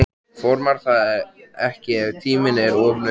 Formar það ekki ef tíminn er of naumur.